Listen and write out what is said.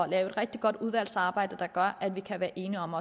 et rigtig godt udvalgsarbejde der gør at vi kan være enige om